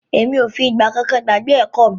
Emi o fi ìgbà kan gbàgbé ẹ̀kọ́ mi.